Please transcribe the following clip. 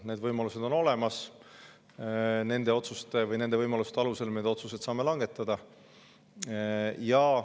Need võimalused on olemas ja nende võimaluste alusel me saame otsused langetada.